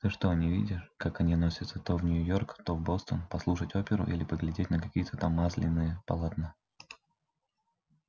ты что не видишь как они носятся то в нью-йорк то в бостон послушать оперу или поглядеть на какие-то там масляные полотна